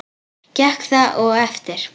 Gekk það og eftir.